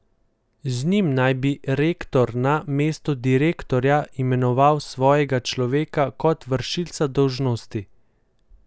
Z njim naj bi rektor na mesto direktorja imenoval svojega človeka kot vršilca dolžnosti.